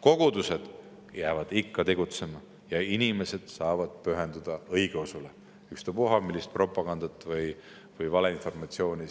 Kogudused jäävad ikka tegutsema ja inimesed saavad pühenduda õigeusule, ükstapuha, millist propagandat siin ei tehta või valeinformatsiooni